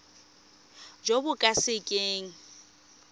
jo bo ka se keng